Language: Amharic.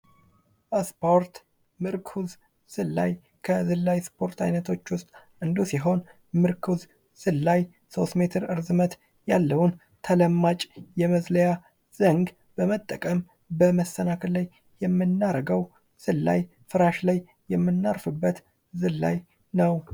ስፖርት ምርኩዝ ዝላይ ከዝላይ ስፖርት አይነቶች ዉስጥ አንዱ ሲሆን ምርኩዝ ዝላይ ሶስት ሜትር እርዝመት ያለውን ተለማጭ የመዝለያ ዘንግ በመጠቀም በመሰናክል ላይ የምናረገው ዝላይ ፍራሽ ላይ የምናርፍበት ዝላይ ነው::